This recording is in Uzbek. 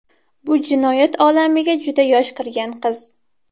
Bu jinoyat olamiga juda yosh kirgan qiz.